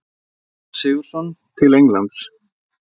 Ragnar Sigurðsson til Englands?